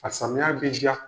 A samiya be diya.